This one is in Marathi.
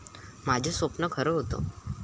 माझं स्वप्न खरं होतं.